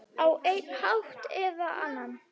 Á einn hátt eða annan.